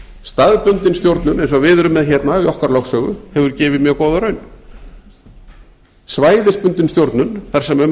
staðbundin stjórnun eins og við erum með hérna í okkar lögsögu hefur gefið mjög góða raun svæðisbundin stjórnun þar sem um er að